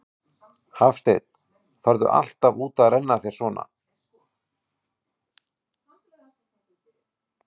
Hafsteinn: Ferðu alltaf út að renna þér svona, þegar snjórinn kemur?